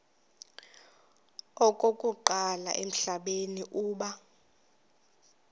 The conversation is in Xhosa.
okokuqala emhlabeni uba